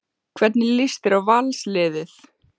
Hvernig lýst þér á Valsliðið?